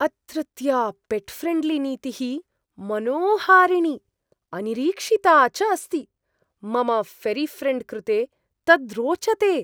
अत्रत्या पेट् ऴ्रेण्ड्लीनीतिः मनोहारिणी, अनिरीक्षिता च अस्ति मम ऴरीऴ्रेण्ड् कृते तत् रोचते!